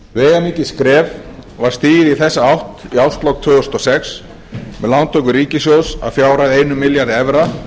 veigamikið skref var stigið í þessa átt í árslok tvö þúsund og sex með lántöku ríkissjóðs að fjárhæð einum milljarði evra